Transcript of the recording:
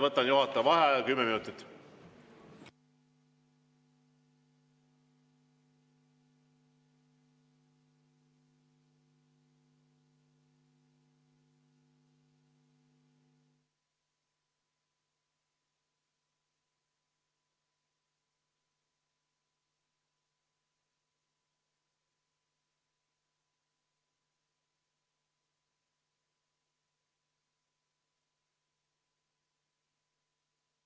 Võtan juhataja vaheaja kümme minutit.